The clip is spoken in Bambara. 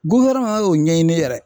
y'o ɲɛɲini yɛrɛ